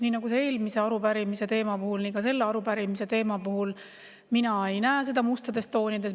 Nii nagu eelmise arupärimise teema puhul nii ka selle arupärimise teema puhul mina ei näe seda mustades toonides.